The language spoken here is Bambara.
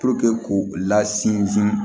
k'u la sinsin